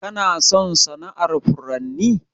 Kana son sana'ar furanni?